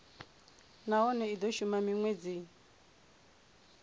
nahone i do shuma minwedzi